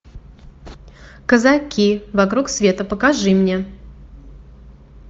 казаки вокруг света покажи мне